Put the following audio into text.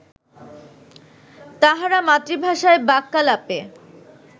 তাঁহারা মাতৃভাষায় বাক্যালাপে